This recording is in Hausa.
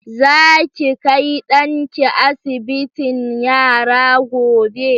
Za ki kai ɗanki asibitin yara gobe?